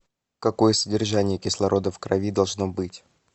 какое содержание кислорода в крови должно быть